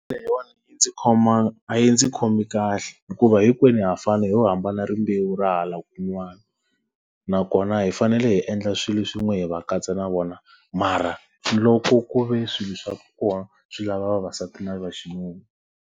Leyiwani ndzi a yi ndzi khomi kahle. Hikuva hinkwenu ha fana hi lo hambana rimbewu ra hala kun'wana. Nakona hi fanele hi endla swilo swin'we hi va katsa na vona mara, loko ku ve swilo swa kona swi lava vavasati na vaxinuna.